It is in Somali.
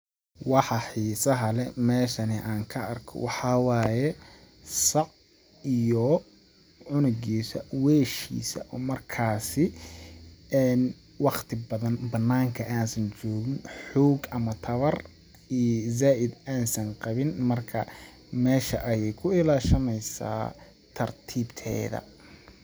Waxa xiisa leh meeshani aan ka arko waxaa waaye ,sac iyo cunugiisa, weeshiisa oo markaasi waqti badan banaanka aan san joogin ama tawar zaaid aan san qawin ,marka meesha ayeey ku ilaashaneysaa tartiib teeda.